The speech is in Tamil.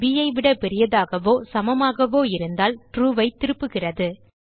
ப் ஐ விட பெரியதாகவோ சமமாகவோ இருந்தால் ட்ரூ ஐ திருப்புகிறது